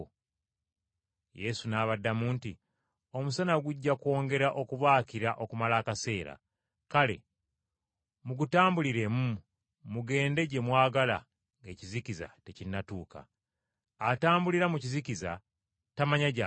Yesu n’abaddamu nti, “Omusana gujja kwongera okubaakira okumala akaseera. Kale mugutambuliremu mugende gye mwagala ng’ekizikiza tekinnatuuka. Atambulira mu kizikiza tamanya gy’alaga.